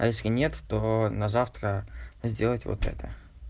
а если нет то на завтра сделать вот это